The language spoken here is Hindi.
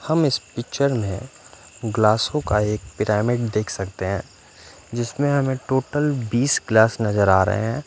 हम इस पिच्चर में ग्लासों का एक पिरामिड देख सकते हैं जिसमें हमें टोटल बीस ग्लास नज़र आ रहे हैं।